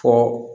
Fɔ